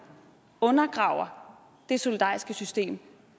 undergraver det solidariske system